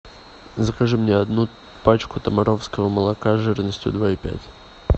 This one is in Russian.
закажи мне одну пачку томаровского молока жирностью два и пять